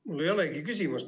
Mul ei ole küsimust.